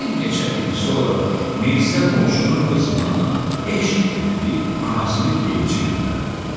Bir neçə il sonra Mirzə qonşunun qızına elçilik gətirib anasını elçi göndərdi.